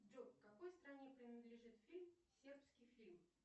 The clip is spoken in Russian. джой какой стране принадлежит фильм сербский фильм